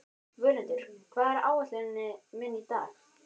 Völundur, hvað er á áætluninni minni í dag?